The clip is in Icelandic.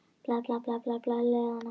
Þetta var fyrri leikur liðanna